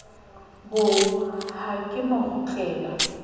bo ha ke no kgutlela